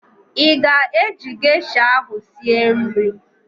Ị ga-eji gesha ahụ sie nri?